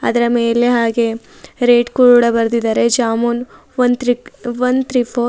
ಅದರ ಮೇಲೆ ಹಾಗೆ ರೇಟ್ ಕೂಡ ಬರದಿದಾರೆ ಜಾಮೂನ್ ಒನ್ ತ್ರಿಕ್ ಒನ್ ಫೋರ್ --